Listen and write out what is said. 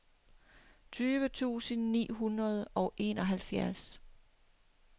tyve tusind ni hundrede og enoghalvfjerds